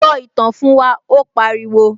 Sọ ìtàn fún wa', ó pariwo